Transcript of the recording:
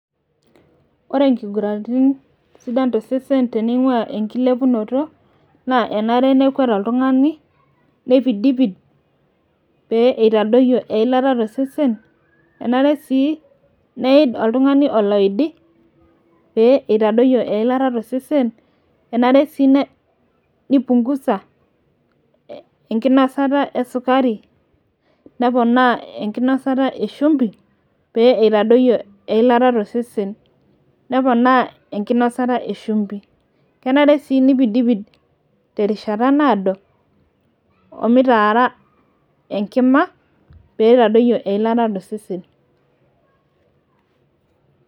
ore inkuguraritin sidan tosesen ningua enkilepinoto nekwet , nipidnipid, pee itadoyio eilata tosesen enare sii nipungusa enkinasata esukari, neponaa enkinosata eshumbi pee itadoyio eilata tosesen, neponaa enkinosata eshumbi, kenare sii nipidipid pee itadoyio eilata tosesen.